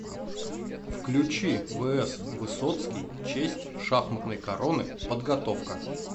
включи вс высоцкий честь шахматной короны подготовка